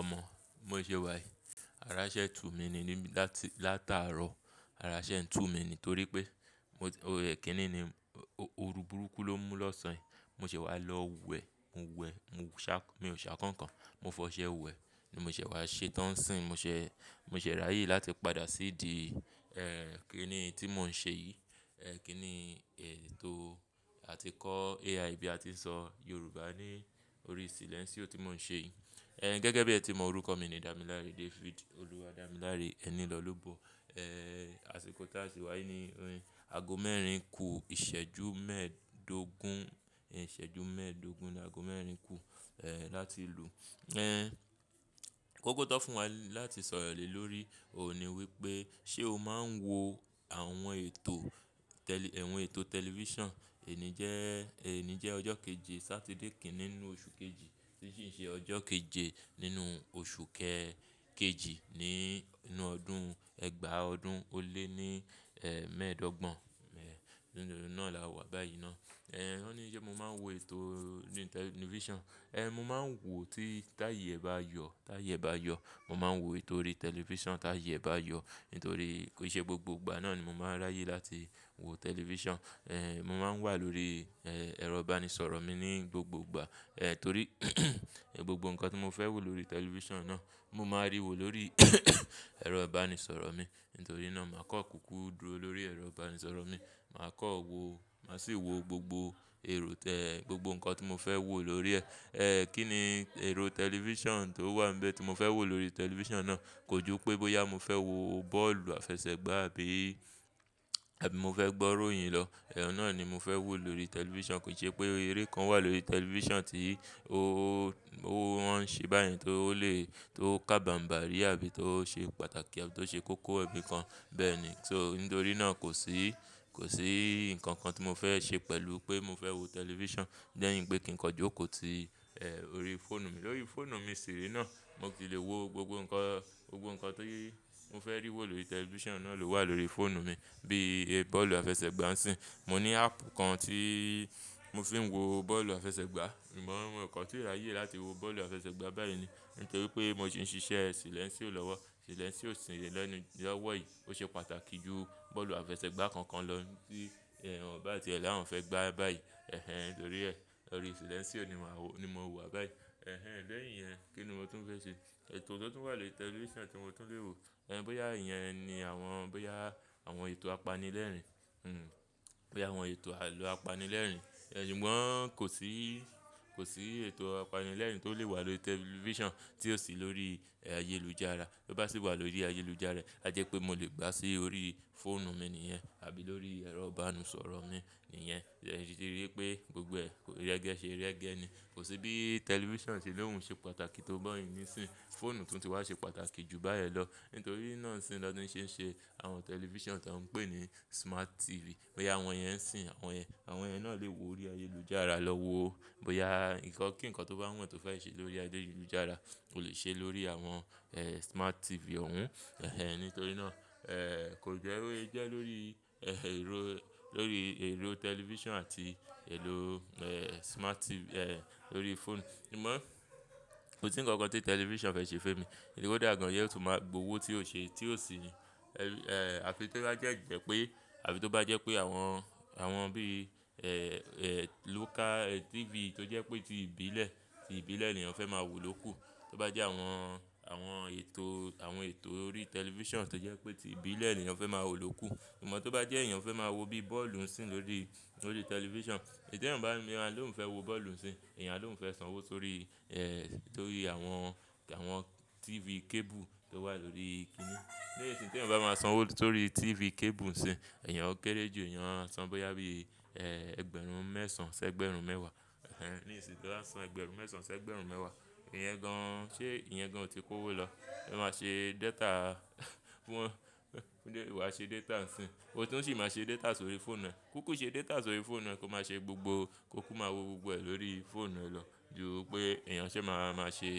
Ọmọ bi mo ṣé wá yìí. Ara ṣẹ́ tù mi ní ní láti látàárọ̀. Ara ṣẹ́ n tù mi nítorí pé, ooru burúkú ló mú lọ́sàn yi. Mo ṣé wá lọ wẹ̀, mo wẹ̀, mo ṣá, mi ò ṣá kankan, mo fọṣẹ́ wẹ̀. Ni mo ṣé wá ṣẹ tán ń sìn. Mo ṣé, mo ṣè ráyè láti padà sí ìdí, kí nì tí mo ń ṣe yìí. Ẹ̀ kín ní ètò àti kọ́ AI bí a ti ń sọ Yorùbá ní orí silẹ́nsìo tí mo ń ṣe yìí. Ẹ̀ gẹ́gẹ́ bí ẹ ti mọ orúkọ mi ni Damilare David, Oluwadamilare Enilolubo. Asìkò tásì wá yìí ni. Àago mẹ́rin kù ìṣẹ́jú mẹ́ẹ̀dógún, ìṣẹ́jú mẹ́ẹ̀dógún ni àago mẹ́rin kù, láti lú. Kókó tó fún wa láti sọ̀rọ̀ lè lórí òhún ni wípé ṣé o máa ń wo àwọn ètò àwọn ètò tẹlifísàn, ení jẹ́ ọjọ́ keje Saturday kìní nínú oṣù kejì, tí sì ṣe ọjọ́ keje nínú oṣù kejì nínú ọdún ẹgba ọdún ó lé ní mẹ́ẹ̀dọ́gbọ̀n. Nínú e náà là wà báyìí ná. Wọ́n ní ṣé mo máa ń wo ètò nínú tẹlifísàn? Mo máa ń wò tí táyè e bá yọ, tì ayè e bá yọ. Mo máa ń wo ètò orí tẹlifísàn táì yè bá yọ. Nítorí ko ṣẹ́ gbogbo ìgbà náà ni mo máa ń ráyè láti wo tẹlifísàn. Ẹ̀, mo máa ń wà lórí, ẹ́, ẹ̀rọ ìbánisọ̀rọ̀ mi ní gbogbo ìgbà. Ẹ̀ torí gbogbo nǹkan tí mo fẹ́ wò lórí tẹlifísàn náà, mo máa rí wò lórí ẹ̀rọ ìbánisọ̀rọ̀ mi. Nítorí náà, màá kọ́ kúkú dúró lórí ẹ̀rọ ìbánisọ̀rọ̀ mi. Màá kọ́ wo, màá sì wo gbogbo èrò tẹ́, gbogbo nǹkan tí mo fẹ́ wò lórí ẹ̀. Ẹ̀ kín ní èrò tẹlifísàn tó wà níbẹ̀ tí mo fẹ́ wò lórí tẹlifísàn náà. Kò ju pé bóyá mo fẹ́ wo bọ́ọ̀lù àfẹsẹ̀gbá àbí, àbí mo fẹ́ gbọ́ iróyìn lọ. Ẹ̀un náà ni mo fẹ́ wò lórí tẹlifísàn. Kò ṣe pé eré kan wà lórí tẹlifísàn tí ó, wọ́n ṣe báye tó lè, tó kábaǹbàrí àbí tó ṣe pàtàkì àbí tó ṣe kóko. Bẹ́ẹ̀ ni. So nítorí náà kò sí, kò sí nǹkan kan tí mo fẹ́ ṣe pẹ̀lú pé mo fẹ́ wo tẹlifísàn, lẹ̀ yín pé kí n kọjú kò tí, orí fóònù mi. Lórí fóònù mi ṣìre náà, mo sì lè wo gbogbo nǹkan, gbogbo nǹkan tí mo fẹ́ rí wò lórí tẹlifísàn náà ló wà lórí fóònù mi. Bí bọ́ọ̀lù àfẹsẹ̀gbá ń sìn. Mo ní áàpù kan tí mo fi ń wo bọ́ọ̀lù àfẹsẹ̀gbá. Sugbon mo kan tí rá yè láti wo bọ́ọ̀lù àfẹsẹ̀gbá báyìí ni. Nítorí pé mo si ń ṣiṣẹ́ silẹ́nsìo lọ́wọ́. Silẹ́nsìó sin ye lẹ́nu lówọ̀ yìí. Ó ṣe pàtàkì ju bọ́ọ̀lù àfẹsẹ̀gbá kankan lọ tí wọn bá tiẹ̀ lá àwon fẹ́ gbá báyìí. Nítorí ẹ́, lórí silẹ́nsìo ni mò wa báyìí. Léyìn iyẹn, kí ni mo tún fẹ́ ṣe? Ètò tó tún wà lórí tẹlifísàn tí mo tún lè wò. Ẹ̀ bóyá ìyẹn ni àwọn, bóyá àwọn ètò apanilẹ́rìn. Bóyá àwọn ètò àlọ́ apanilẹ́rìn. Ẹ̀ ṣùgbọ́n kò sí, kò sí ètò apanilẹ́rìn tó lè wà lórí tẹlifísàn tí ò sí lórí ayélujára. Tí ó bá sì wà lórí ayélujára, a jẹ́ pé mo lè gbá sí orí fóònù mi nìyẹn. Àbí lórí ẹ̀rọ ìbánisọ̀rọ̀ mi nìyẹn. Ẹ̀ ṣì ti rí pé gbogbo ẹ́ kò rẹ́gẹ́ ṣe rẹ́gẹ́ ni. Kò sí bí tẹlifísàn ṣe lóhùn ṣe pàtàkì tó ba yìí nísín. Fóònù tuntun ti wá ṣe pàtàkì ju báyẹn lọ. Nítorí náà sì ni wọ́n ti ń ṣe àwọn tẹlifísàn ti wọ́n ń pè ní smart TV. Bóyá àwọn yẹn ń sìn àwọn yẹn. Àwọn yẹn náà lè wo orí ayélujára lọ wo. Bóyá nǹkan kí nǹkan tó bá wùn ẹ́ tó fẹ́ ṣe lórí ayélujára, o lè ṣe lórí àwọn smart TV òhun. Nítorí náà, kò jẹ́ bó sé jẹ́ lórí, lórí èrò tẹlifísàn àti èlò smart TV lórí fóònù. Amọ̀ kò sí nǹkan kan tí tẹlifísàn fẹ́ ṣe fun emi. Koda dà gan yio tu máa gbowó tí ò ṣi ni, Afi tó de jẹ́ pé, àbí tó bá jẹ́ pé àwọn, àwọn bí local TV tó jẹ́ pé tí ìbílẹ̀, tí ìbílẹ̀ ni eyàn fẹ́ máa wò ló kù. Tó bá jẹ́ àwọn, àwọn ètò orí tẹlifísàn tó jẹ́ pé tí ìbílẹ̀ nì eyàn fẹ́ máa wò ló kù. Amọ̀ tó bá jẹ́ èyàn fẹ́ máa wo bí bọ́ọ̀lù ń sìn lórí, lórí tẹlifísàn. Tí ènìyàn bá ló ń fẹ́ wo bọ́ọ̀lù ń sìn. Enìyàn aló ń fẹ́ sanwó sórí àwọn TV cable tó wà lórí kíní. Nísin tí ènìyàn bá máa sanwó sórí TV cable ń sìn, ó kéré jù ènìyàn ma san bóyá bí, ẹgbẹ̀rún mẹ́sàn sẹ́ ẹgbẹ̀rún mẹ́wàá. Nísin tó bá san ẹgbẹ̀rún mẹ́sàn sẹ́ ẹgbẹ̀rún mẹ́wàá, ìyẹn gan ṣé ìyẹn gan ò ti kó owó lọ? Ó máa ṣe data, wàá ṣe data ń sìn. Ó tún sì máa ṣe data sórí fóònù ẹ. Kúkú ṣe data sórí fóònù ẹ kó máa ṣe gbogbo, kó kú máa wo gbogbo ẹ̀ lórí fóònù ẹ lọ. Ju pé ènìyàn ṣé máa, máa ṣe,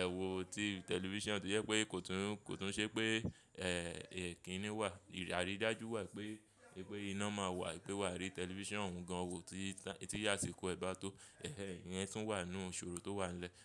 ewo TV tẹlifísàn tó jẹ́ pé kò tún, kò tún ṣe pé, kíní wà. Aridájú wà pé iná máa wà, pé wà á ríi tẹlifísàn òun gan wo tí, tí asikó ẹ bá tó. Ìyẹn tún wà nínú ìṣòro tó wà nílẹ̀.